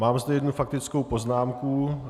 Mám zde jednu faktickou poznámku.